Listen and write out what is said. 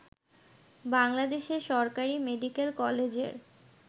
বাংলাদেশে সরকারী মেডিকেল কলেজের